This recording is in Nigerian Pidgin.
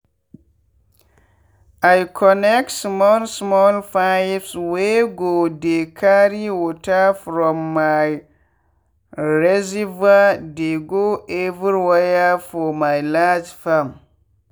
i connect small small pipeswey go dey carry water from my reservoir dey go every where for my large farm.